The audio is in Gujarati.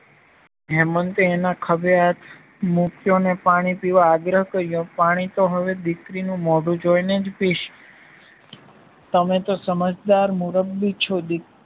હેમંતે એના ખભે હાથ મુક્યો ને પાણી પીવા આગ્રહ કર્યો પાણી તો હવે દીકરીનું મોઠું જોઈને જ પીઇસ તમે તો સમજદાર મોરબ્બી છ